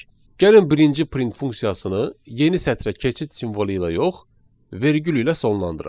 Gəlin birinci print funksiyasını yeni sətrə keçid simvolu ilə yox, vergül ilə sonlandıraq.